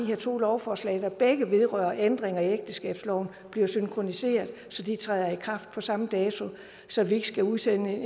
her to lovforslag der begge vedrører ændringer i ægteskabsloven bliver synkroniseret så de træder i kraft på samme dato så vi ikke skal udsende